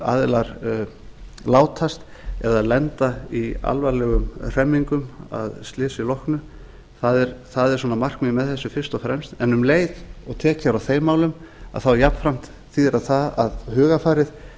aðilar látast eða lenda í alvarlegum hremmingum að slysi loknu það er markmiðið með þessu fyrst og fremst en um leið og tekið er á þeim málum þýðir það jafnframt það það að hugarfarið